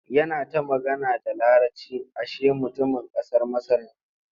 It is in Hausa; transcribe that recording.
Yana ta magana da Laraci ashe mutumin ƙasar Masar ne.